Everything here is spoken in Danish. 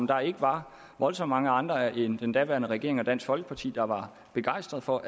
der ikke var voldsomt mange andre end den daværende regering og dansk folkeparti der var begejstrede for